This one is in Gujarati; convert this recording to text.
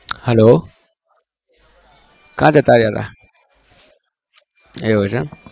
hello કયા જતા રહ્યા તા એવું છે